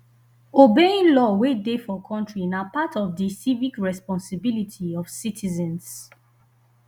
obeying law wey dey for country na part of di civic responsibility of citizens